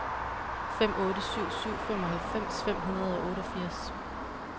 fem otte syv syv femoghalvfems fem hundrede og otteogfirs